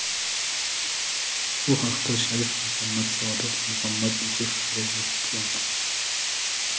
Bu haqda shayx Muhammad Sodiq Muhammad Yusuf fikr yuritgan .